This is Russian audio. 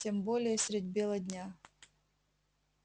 тем более средь бела дня